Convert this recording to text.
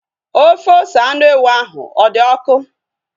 Ofe ose anụ ewu ahu ọ dị ọkụ?